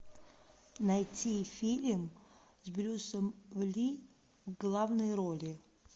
найти фильм с брюсом ли в главной роли